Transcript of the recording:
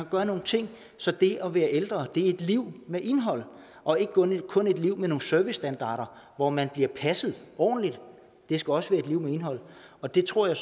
gøre nogle ting så det at være ældre er et liv med indhold og ikke kun et liv med nogle servicestandarder hvor man bliver passet ordentligt det skal også være et liv med indhold og det tror jeg